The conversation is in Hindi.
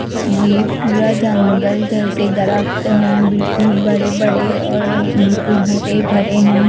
यह पूरा जंगल जैसे दरख्त हैं बिल्कुल बड़े बड़े और बिल्कुल हरे भरे हैं।